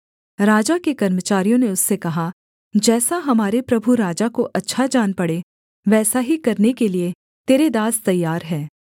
राजा के कर्मचारियों ने उससे कहा जैसा हमारे प्रभु राजा को अच्छा जान पड़े वैसा ही करने के लिये तेरे दास तैयार हैं